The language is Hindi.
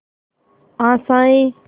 आशाएं